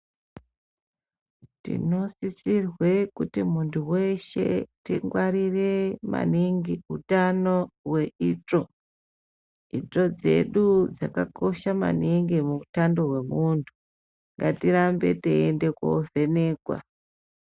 Tinosisirwe kuti munthu weshe tingwarire maningi utano weitsvo itsvo dzedu dzakakosha maningi muutando wemunthu ngatirambe teiende kovhenekwa.